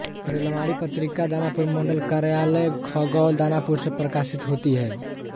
रेलवाणी पत्रिका दानापुर मंडल कार्यालय खगौल दानापुर से प्रकाशित होती है